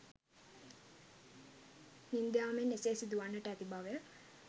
නින්ද යාමෙන් එසේ සිදුවන්නට ඇති බවය.